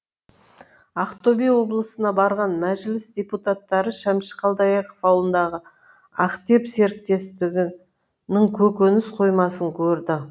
ақтөбе облысына барған мәжіліс депутаттары шәмші қалдаяқов ауылындағы ақтеп серіктестігінің көкөніс қоймасын көрді